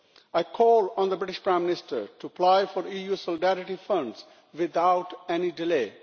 I call on the British Prime Minister to apply for EU Solidarity Funds without any delay.